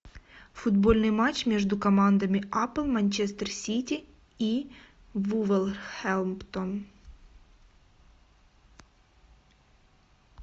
футбольный матч между командами апл манчестер сити и вулверхэмптон